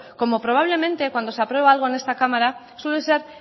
como probablemente cuando se aprueba algo en esta cámara suele ser